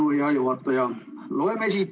Suur tänu, hea juhataja!